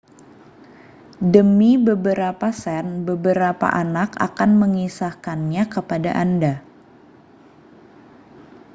demi beberapa sen beberapa anak akan mengisahkannya kepada anda